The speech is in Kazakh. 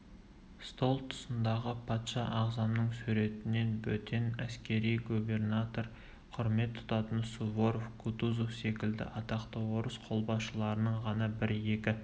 стол тұсындағы патша ағзамның суретінен бөтен әскери губернатор құрмет тұтатын суворов кутузов секілді атақты орыс қолбасшыларының ғана бір-екі